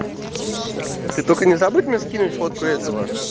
ты только не забудь мне скинуть фотку этого